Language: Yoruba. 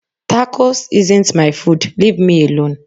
Tacos isn't my food, leave me alone.